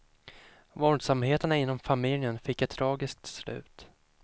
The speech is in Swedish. Våldsamheterna inom familjen fick ett tragiskt slut.